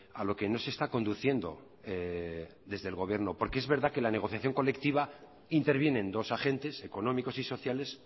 a lo que no se está conduciendo desde el gobierno porque es verdad que en la negociación colectiva intervienen dos agentes económicos y sociales